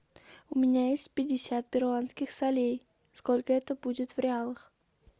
у меня есть пятьдесят перуанских солей сколько это будет в реалах